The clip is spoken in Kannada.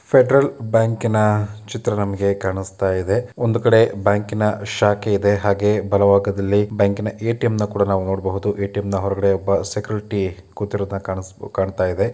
ಫೆಡ್ರಲ್ ಬ್ಯಾಂಕಿನ ಚಿತ್ರ ನಮ್ಗೆ ಕಾಣಿಸ್ತಾ ಇದೆ ಒಂದು ಕಡೆ ಬ್ಯಾಂಕಿನ ಶಾಖೆ ಇದೆ ಹಾಗೆ ಬಲಭಾಗದಲ್ಲಿ ಬ್ಯಾಂಕಿನ ಏ.ಟಿ.ಮ್ ನ ಕೂಡ ನಾವ್ ನೊಡ್ಬಹುದು ಏ.ಟಿ.ಮ್ ನ ಹೊರಗಡೆ ಒಬ್ಬ ಸೆಕ್ಯೂರಿಟಿ ಕೂತಿರೋದ್ನ ಕಾಣಿಸ್ಬೊ_ ಕಾಣ್ತಾ ಇದೆ.